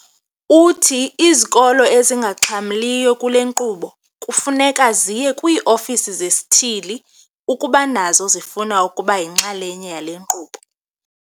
Uthi izikolo ezingaxhamliyo kule nkqubo kufuneka ziye kwii-ofisi zesithili ukuba nazo zifuna ukuba yinxalenye yale nkqubo.